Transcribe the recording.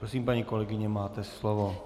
Prosím, paní kolegyně, máte slovo.